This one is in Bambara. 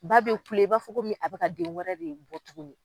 Ba bɛ kule i b'a fɔ ko min a bɛ ka den wɛrɛ de bɔ tugunni.